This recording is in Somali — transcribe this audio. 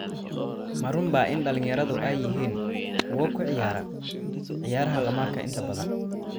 Ma runbaa in dhalinyaradu ay yihiin kuwa ku ciyaara ciyaaraha khamaarka inta badan?